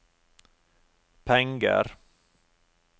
penger